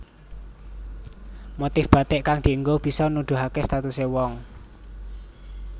Motif bathik kang dinggo bisa nuduhaké statusé wong